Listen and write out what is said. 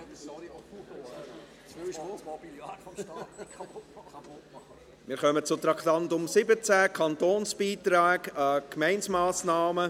Wir kommen zum Traktandum 17, Kantonsbeiträge an die Gemeindemassnahmen.